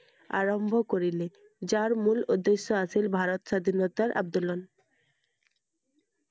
আৰম্ভ কৰিলে যাৰ মূল উদ্দেশ্য আছিল স্বাধীনতাৰ আন্দোলন I